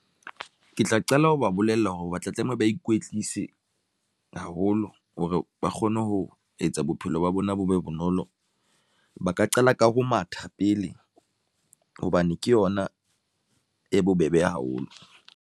Ke tla qala ho ba bolella hore re ba tla tlamehile, ba ikwetlise haholo hore ba kgone ho etsa bophelo ba bona bo be bonolo. Ba ka qala ka ho matha pele hobane ke yona e bobebe haholo.